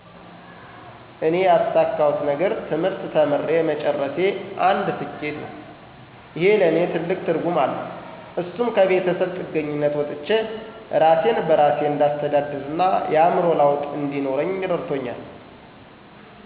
እኔ ያሳካሁት ነገር ትምህርት ተምሬ መጨረሴ አንድ ስኬቴ ነው። እሄ ለኔ ትልቅ ትርጉም አለው እሱም ከቤተሰብ ጥገኝነት ወጥቸ እራሴን በራሴ እንዳስተዳድርና የአዕምሮ ለውጥ እንዲኖረኝ ረድቶኛል።